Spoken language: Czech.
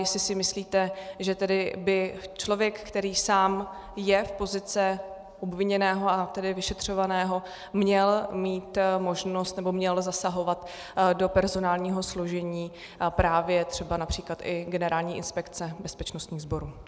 Jestli si myslíte, že tedy by člověk, který sám je v pozici obviněného, a tedy vyšetřovaného, měl mít možnost nebo měl zasahovat do personálního složení právě třeba například i Generální inspekce bezpečnostních sborů.